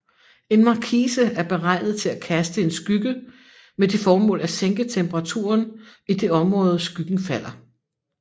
En markise er beregnet til at kaste en skygge med det formål at sænke temperaturen i det område skyggen falder